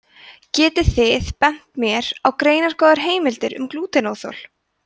getið þið bent mér á greinargóðar heimildir um glútenóþol